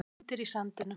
Myndir í sandinum